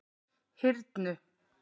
Hyrnu